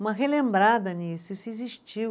Uma relembrada nisso, isso existiu.